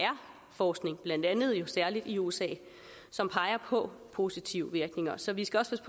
forskning blandt andet jo særlig i usa som peger på positive virkninger så vi skal også